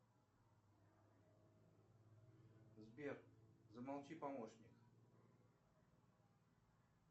сбер замолчи помощник